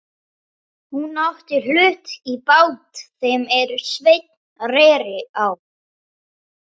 Hún átti hlut í bát þeim er Sveinn reri á.